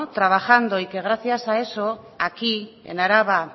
trabajando y que gracias a eso aquí en araba